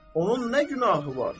Onun nə günahı var?